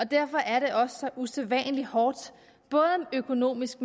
derfor er det også så usædvanlig hårdt både økonomisk